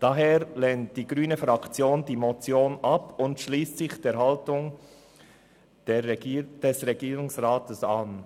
Daher lehnt die grüne Fraktion die Motion ab und schliesst sich der Haltung des Regierungsrats an.